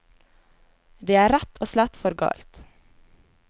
Det er rett og slett for galt.